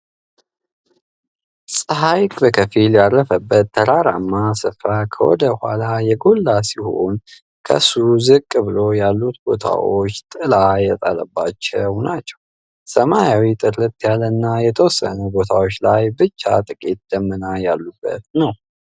ጸሃይ በከፊል ያረፈበት ተራራማ ስፍራ ከወደ ኋላ የጎላ ሲሆን ከሱ ዝቅ ብሎ ያሉት ቦታዎች ጥላ ያጠላባቸው ናቸው። ሰማዩም ጥርት ያለ እና የተወሰኑ ቦታዎች ላይ ብቻ ጥቂት ደመና ያሉበት ነው።